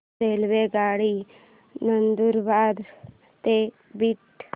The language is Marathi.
रेल्वेगाडी नंदुरबार ते बीड